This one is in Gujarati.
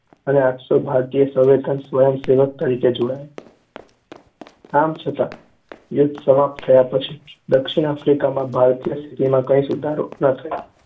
અનેઆઠસો ભારતીયો સવેતન સ્વયંસેવક તરીકે જોડાયા. આમ છતાં યુદ્ધ સમાપ્ત થયા પછી દક્ષિણ આફ્રિકામાં ભારતીયોની સ્થિતિમાં કંઈ સુધારો ન થયો